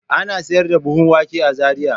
Ana sayar da buhun wake a Zariya.